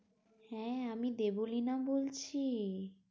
হ্যাঁ, আমি দেবলীনা বলছি।